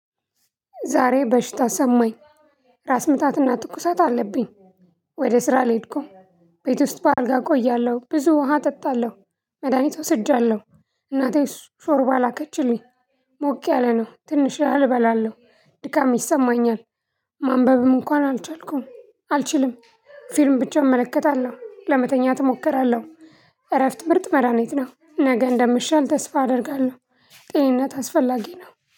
ዛሬ በሽታ ሰማኝ ራስ ምታትና ትኩሳት አለብኝ። ወደ ስራ ልሄድኩም ቤት ውስጥ በአልጋ እቆያለሁ ብዙ ውሃ እጠጣለሁ። መድሃኒት አውስጃለሁ። እናቴስ ሾርባ ላከችልኝ። ሞቅ ያለ ነው ትንሽ ያህል እበላለሁ። ድካም ይሰማኛል። ማንበብም እንኳን አልቻልኩም አልችልም። ፊልም ብቻ እመለከታለሁ ለመተኛት እሞክራለሁ። እረፍት ምርጥ መድሃኑት ነው። ነገ እንደምሻል ተስፋ አደርጋለሁ። ጤኝነት አስፈላጊ ነው